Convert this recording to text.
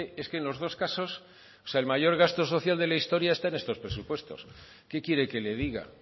es que en los dos casos o sea el mayor gasto social de la historia está en estos presupuestos qué quiere que le diga